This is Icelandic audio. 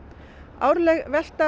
árleg velta